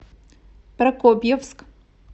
прокопьевск